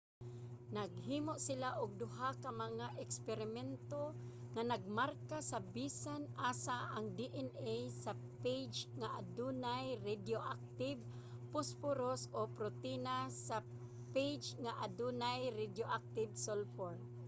naghimo sila og duha ka mga eksperimento nga nagmarka sa bisan asa ang dna sa phage nga adunay radioactive phosphorus o ang protina sa phage nga adunay radioactive sulfur